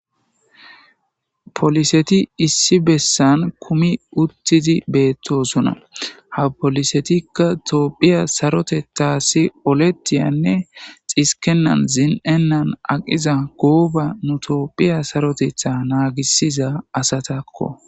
Poliseti issi bessan kumi uttidi beettosuna ha polisetikka toophiya saroteta si oletiyanne xiskenan zin7ennan aqiza gooba nu toophiya sarotetha naagisiza asatakko.